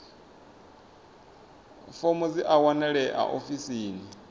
fomo dzi a wanalea ofisini